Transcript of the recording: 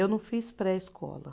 Eu não fiz pré-escola.